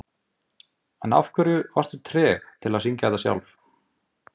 Þóra Arnórsdóttir: En af hverju varstu treg til að syngja þetta sjálf?